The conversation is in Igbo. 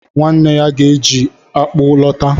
Nwanne ya ga-eji ji akpu lọta.